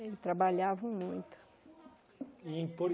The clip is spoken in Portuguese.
E trabalhavam muito. E em